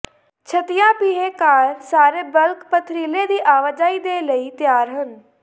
ਛੱਤਿਆ ਪੀਹੇ ਕਾਰ ਸਾਰੇ ਬਲਕ ਪਥਰੀਲੇ ਦੀ ਆਵਾਜਾਈ ਦੇ ਲਈ ਤਿਆਰ ਹਨ